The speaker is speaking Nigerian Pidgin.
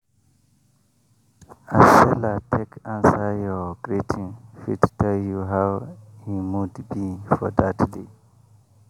as seller take answer your greeting fit tell you how e mood be for that day.